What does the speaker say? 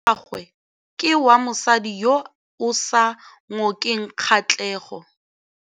Moaparô wa gagwe ke wa mosadi yo o sa ngôkeng kgatlhegô.